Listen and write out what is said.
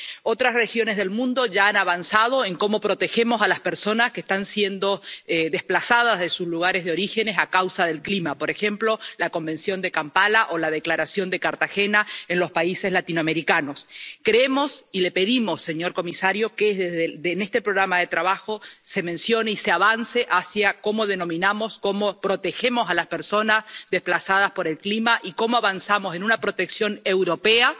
Otras regiones del mundo ya han avanzado en cómo proteger a las personas que se ven obligadas a desplazarse de sus lugares de origen a causa del clima, por ejemplo, a través de la Convención de Kampala o la Declaración de Cartagena en los países latinoamericanos. Le pedimos, señor comisario, que en este programa de trabajo se avance hacia cómo denominar, cómo proteger a las personas desplazadas por el clima y se indique cómo avanzar en una protección europea